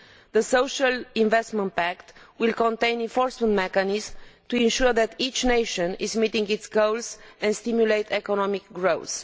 The Social Investment Pact will contain enforcement mechanisms to ensure that each nation is meeting its goals and to stimulate economic growth.